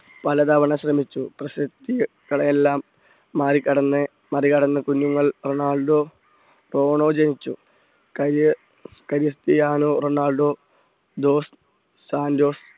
പലതവണ ശ്രമിച്ചു പ്രശസ്തികളെ എല്ലാം മറികടന്ന് മറികടന്ന് കുഞ്ഞുങ്ങൾ റൊണാൾഡോ റോണോ ജനിച്ചു ക്രിസ്റ്റിയാനോ റൊണാൾഡോ